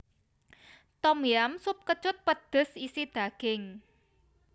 Tom yam sup kecut pedhes isi daging